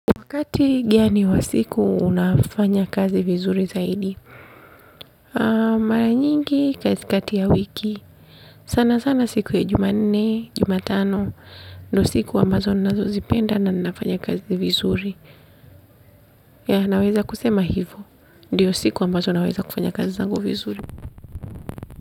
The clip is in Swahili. Wakati gani wa siku, unafanya kazi vizuri zaidi. Mara nyingi, katikati ya wiki. Sana sana siku ya juma nne, juma tano. Ndio siku ambazo ninazozipenda na ninafanya kazi vizuri. Ya, naweza kusema hivyo. Ndiyo siku ambazo naweza kufanya kazi zangu vizuri.